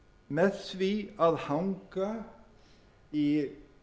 með því að hanga í